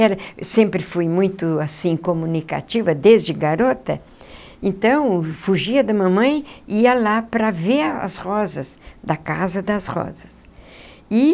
Era sempre fui muito assim comunicativa desde garota, então fugia da mamãe e ia lá para ver as rosas da Casa das Rosas e.